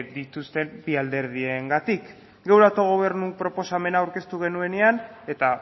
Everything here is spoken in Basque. dituzten bi alderdiengatik geure autogobernu proposamena aurkeztu genuenean eta